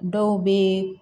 Dɔw bɛ